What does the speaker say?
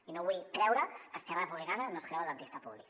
i no vull creure que esquerra republicana no es creu el dentista públic